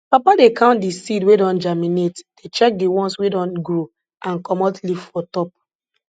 papa dey count di seed wey don germinate dey check di ones wey don grow and comot leaf for top